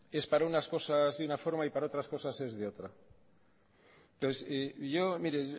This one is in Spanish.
es para unas cosas de una forma y para otras cosas es de otra entonces yo mire